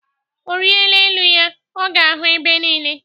Ọrịa elu ya, ọ ga ahụ ebe niile.